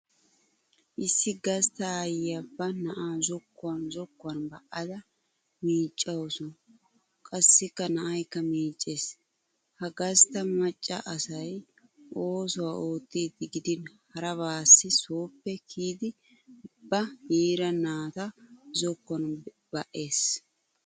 Issi gastta aayyiya ba na'aa zokkuwan zokkuwan ba'da miicxawusu qassikka na'aykka miicces. Ha gassta macca asay ouwaa oottiiddi gidin harabaassi sooppe kiyiiddi ba yiira naata zokkuwan ba'ees.